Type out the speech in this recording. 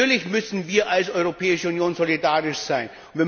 Natürlich müssen wir als Europäische Union solidarisch sein.